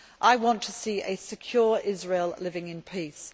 I want to see a secure Israel living in peace.